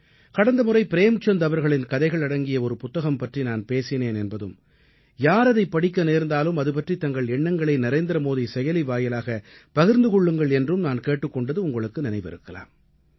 கடந்த முறை ப்ரேம்சந்த் அவர்களின் கதைகள் அடங்கிய ஒரு புத்தகம் பற்றி நான் பேசினேன் என்பதும் யார் அதைப் படிக்க நேர்ந்தாலும் அது பற்றித் தங்கள் எண்ணங்களை நரேந்திரமோடி செயலி வாயிலாகப் பகிர்ந்து கொள்ளுங்கள் என்றும் நான் கேட்டுக் கொண்டது உங்களுக்கு நினைவிருக்கலாம்